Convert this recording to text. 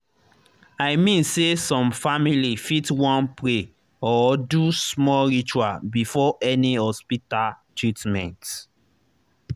i mean say some family fit wan pray or do small ritual before any hospita treatment